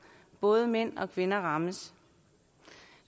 og både mænd og kvinder rammes